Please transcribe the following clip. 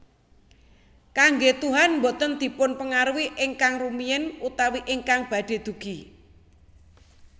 Kanggé tuhan boten dipunpengaruhi ingkang rumiyin utawi ingkang badhé dugi